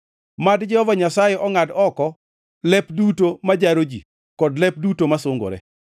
Mad Jehova Nyasaye ongʼad oko lep duto ma jaro ji kod lep duto masungore;